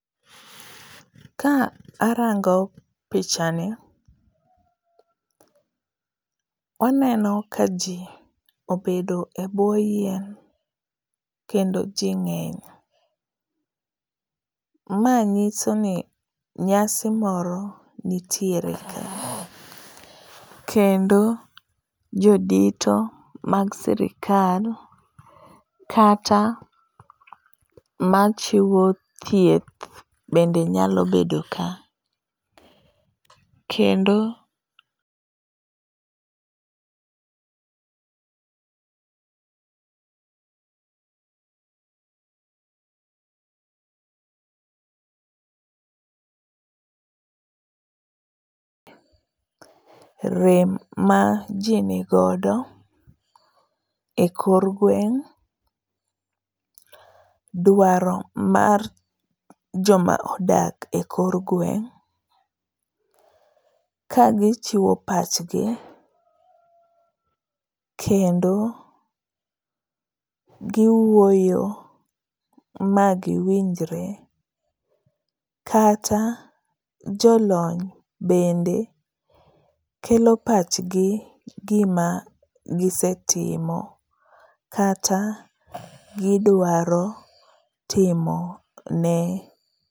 Ka arango picha ni, aneno kaji obedo ebwo yien kendo ji ng'eny. Ma nyiso ni nyasi moro nitiere ka kendo jodito mag sirkal kata machiwo thieth bende nyalo bedo ka kendo rem maji nigodo ekor gweng', dwaro mar joma odak e kor gweng' ka gichiwo pachgi kendo giwuoyo ma giwinjre kata jolony bende kelo pachgi gima gisetimo kata gidwaro timo ne.